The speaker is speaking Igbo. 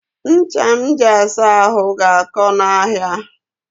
Ncha m ji asa ahụ ga-akọ n'ahịa